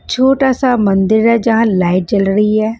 छोटा सा मंदिर है जहाँ लाइट जल रही है --